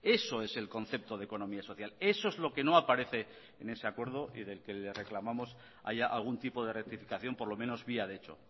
eso es el concepto de economía social eso es lo que no aparece en ese acuerdo y del que le reclamamos haya algún tipo de rectificación por lo menos vía de hecho